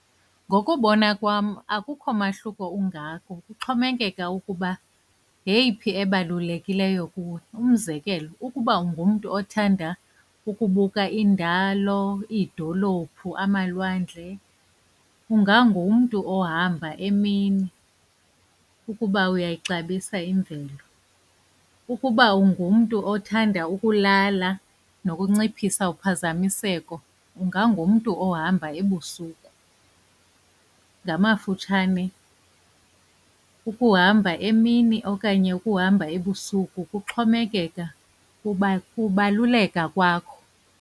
Ngokubona kwam akukho mahluko ungako, kuxhomekeka ukuba yeyiphi ebalulekileyo kuwe. Umzekelo ukuba ungumntu othanda ukubuka iindalo, iidolophu, amalwandle nje, ungangumntu ohamba emini ukuba uyayixabisa imvelo. Ukuba ungumntu othanda ukulala nokunciphisa uphazamiseko ungangumntu ohamba ebusuku. Ngamafutshane ukuhamba emini okanye ukuhamba ebusuku kuxhomekeka kubaluleka kwakho.